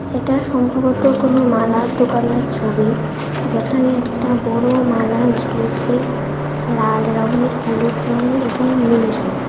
এটা সম্ভবত কোনও মালার দোকানের ছবি যেখানে একটা বড় মালা ঝুলছে লাল রঙের হলুদ রঙের এবং নীল রঙের।